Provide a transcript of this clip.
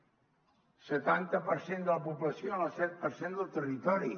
el setanta per cent de la població en el set per cent del territori